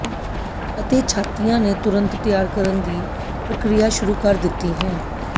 ਅਤੇ ਛਾਤੀਆਂ ਨੇ ਤੁਰੰਤ ਤਿਆਰ ਕਰਨ ਦੀ ਪ੍ਰਕਿਰਿਆ ਸ਼ੁਰੂ ਕਰ ਦਿੱਤੀ ਹੈ